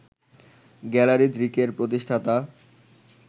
gallery দৃকের প্রতিষ্ঠাতা